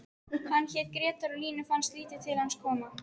Hann hét Grettir og Línu fannst lítið til hans koma: